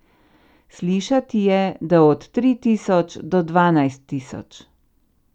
Slišati je, da od tri tisoč do dvanajst tisoč.